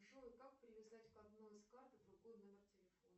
джой как привязать к одной из карт другой номер телефона